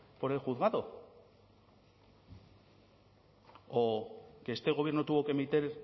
por el juzgado o que este gobierno tuvo que emitir